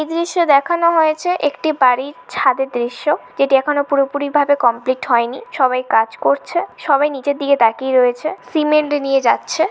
এই দৃশ্যে দেখানো হয়েছে একটি বাড়ির ছাদের দৃশ্য যেটি এখনো পুরোপুরি ভাবে কমপ্লিট হয়নি সবাই কাজ করছে সবাই নিচের দিকে তাকিয়ে রয়েছে সিমেন্ট নিয়ে যাচ্ছে।